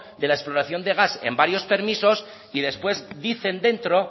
de la exploración de gas en varios permisos y después dicen dentro